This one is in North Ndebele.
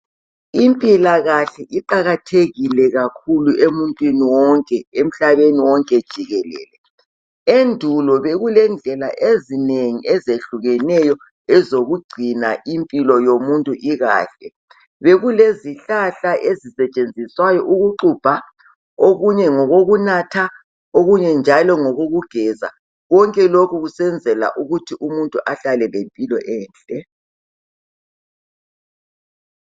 lmpilakahle iqakathekile kakhulu emntwini wonke emhlabeni wonke jikelele. Endulo bekulendlela ezinengi ezehlukeneyo ezokugcina impilo yomuntu ikahle. Bekulezihlahla ezisetshenziswayo ukuxubha okunye ngokokunatha okunye njalo ngokokugeza. Konke lokhu kusenzela ukuthi umuntu ahlale lempilo enhle.